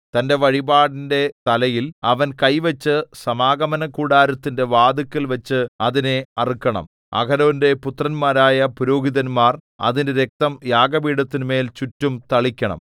തന്റെ വഴിപാടിന്റെ തലയിൽ അവൻ കൈവച്ചു സമാഗമനകൂടാരത്തിന്റെ വാതില്‍ക്കൽവച്ച് അതിനെ അറുക്കണം അഹരോന്റെ പുത്രന്മാരായ പുരോഹിതന്മാർ അതിന്റെ രക്തം യാഗപീഠത്തിന്മേൽ ചുറ്റും തളിക്കണം